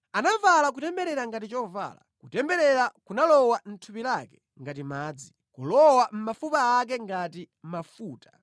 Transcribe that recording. Anavala kutemberera ngati chovala; kutemberera kunalowa mʼthupi lake ngati madzi, kulowa mʼmafupa ake ngati mafuta.